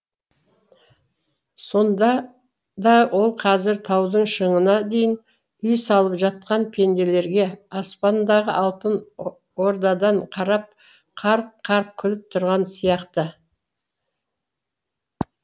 сонда да ол қазір таудың шыңына дейін үй салып жатқан пенделерге аспандағы алтын ордадан қарап қарқ қарқ күліп тұрған сияқты